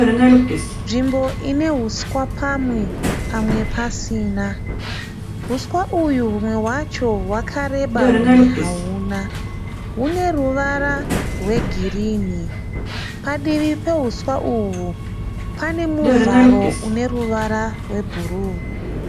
Nzvimbo ine huswa pamwe pamwe pasina. Huswa uyu humwe hwacho hwakareba humwe hauna. Hune ruvara rwegirinhi. Padivi pahuswa uhu pane muvharo une ruvara rwebhuru.